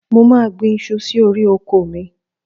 Mo máà gbin iṣu sí orí oko mi.